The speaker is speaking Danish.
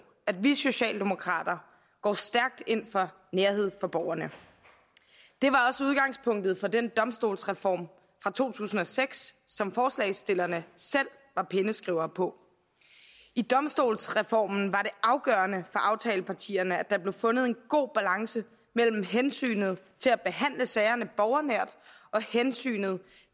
at vi socialdemokrater går stærkt ind for nærhed for borgerne det var også udgangspunktet for den domstolsreform fra to tusind og seks som forslagsstillerne selv var penneskrivere på i domstolsreformen var det afgørende for aftalepartierne at der blev fundet en god balance mellem hensynet til at behandle sagerne borgernært og hensynet